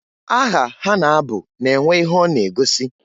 Aha ha na-abụ na-enwe ihe ọ na-egosi.